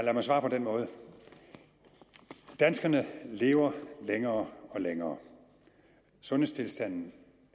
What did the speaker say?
lad mig svare på den måde danskerne lever længere og længere sundhedstilstanden